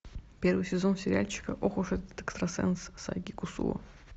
первый сезон сериальчика ох уж этот экстрасенс сайки кусуо